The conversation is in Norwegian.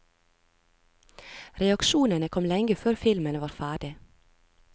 Reaksjonene kom lenge før filmen var ferdig.